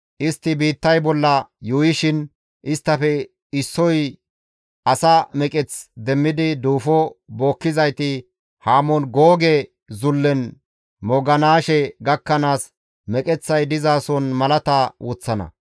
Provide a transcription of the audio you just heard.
Istti biittay bolla yuuyishin, isttafe issoy asa meqeth demmidi duufo bookkizayti Hamoon Googe zullen mooganaashe gakkanaas meqeththay dizason malata woththana.